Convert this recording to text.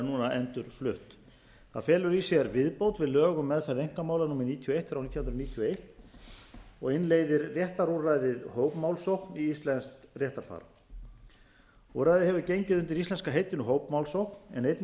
núna endurflutt það felur í sér viðbót við lög um meðferð einkamála númer níutíu og eitt nítján hundruð níutíu og eins og innleiðir réttarúrræðið hópmálsókn í íslenskt réttarfar úrræðið hefur gengið undir íslenska heitinu hópmálsókn en einnig